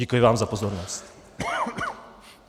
Děkuji vám za pozornost.